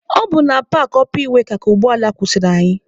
Ọ bụ na paakị ọpa iweka ka ụgbọ ala kwụsịrị anyị.